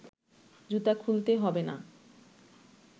জুতা খুলতে হবে না